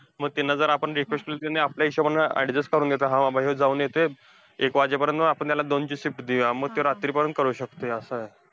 मग त्यांना जर आपण request केली, त्यांनी आपल्या हिशोबाने adjust करून घेतात. हा बाबा ह्यो जाऊन येतोय एक वाजेपर्यंत, मग आपण त्याला दोनची shift देऊया. मग त्यो रात्रीपर्यंत करू शकतोय असं.